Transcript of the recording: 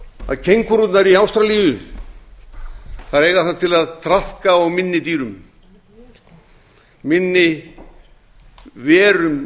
kengúrurnar í ástralíu eiga það til að traðka á minni dýrum minni verum í